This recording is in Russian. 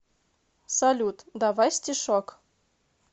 салют давай стишок